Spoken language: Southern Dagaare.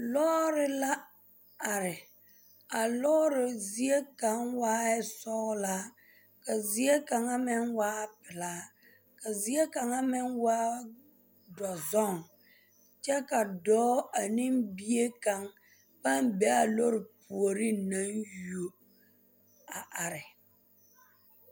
Lɔɔre la are a lɔɔre zie kaŋ waa sɔglaa ka zie kaŋ meŋ waa pelaa ka zie kaŋ waa dɔzɔŋ kyɛ ka dɔɔ ane bie kaŋ pãã be a lɔɔre puoriŋ naŋ yuo a are.